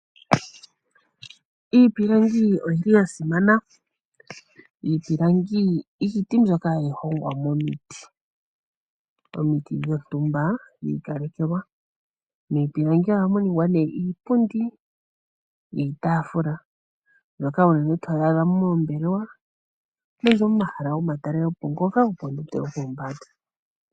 Iipilangi oyili ya simana. Iipilangi iiti mbyoka hayi hongwa momiti, momiti dhontumba dhi ikalekelwa. Miipilangi ohamu ningwa nee iipundi, iitaafula mbyoka olundji toyi adha moombelewa nenge momahala gomatalelopo ngoka gopondondo yopombanda.